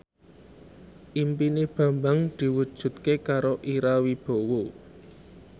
impine Bambang diwujudke karo Ira Wibowo